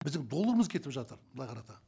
біздің долларымыз кетіп жатыр былай қараса